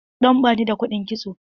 Dan bani da kuɗin kitso.